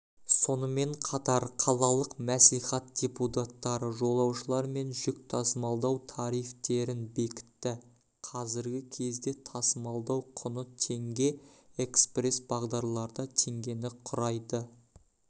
сонымен қатар қалалық мәслихат депутаттары жолаушылар мен жүк тасымалдау тарифтерін бекітті қазіргі кезде тасымалдау құны теңге экспресс бағдарларда теңгені құрайды